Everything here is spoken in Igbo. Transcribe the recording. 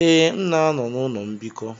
Ee, m na-anọ n'ụlọ mbikọ.